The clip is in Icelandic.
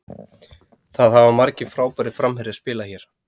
Það hafa margir frábærir framherjar spilað hérna.